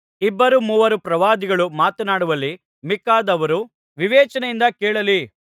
ಇಬ್ಬರು ಮೂವರು ಪ್ರವಾದಿಗಳು ಮಾತನಾಡಲಿ ಮಿಕ್ಕಾದವರು ವಿವೇಚನೆಯಿಂದ ಕೇಳಲಿ